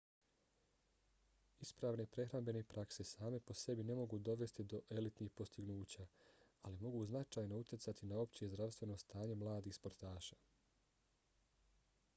ispravne prehrambene prakse same po sebi ne mogu dovesti do elitnih postignuća ali mogu značajno utjecati na opće zdravstveno stanje mladih sportaša